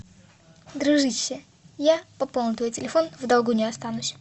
дружище я пополню твой телефон в долгу не останусь